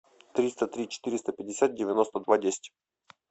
триста три четыреста пятьдесят девяносто два десять